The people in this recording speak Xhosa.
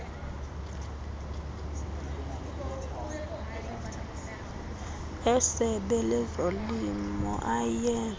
esebe lezolimo eye